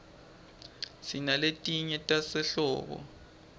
sinaletinye tasehlobo